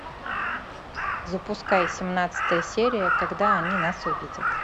запускай семнадцатая серия когда они нас увидят